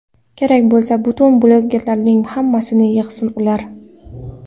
Kerak bo‘lsa, butun blogerlarning hammasini yig‘sin ular.